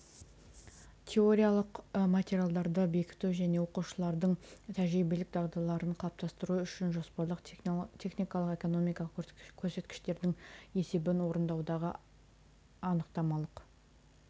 теориялық материалдарды бекіту және оқушылардың тәжірибелік дағдыларын қалыптастыру үшін жоспарлық техникалық экономикалық көрсеткіштердің есебін орындаудағы анықтамалық